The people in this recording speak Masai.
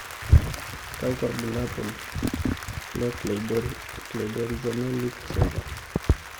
kakwa ibulabul ee Cleidorhizomelic syndrome.